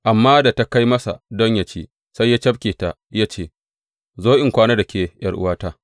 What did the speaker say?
Amma da ta kai masa don yă ci, sai ya cafke ta ya ce, Zo in kwana da ke, ’yar’uwata.